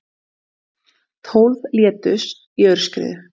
Tólf létust í aurskriðu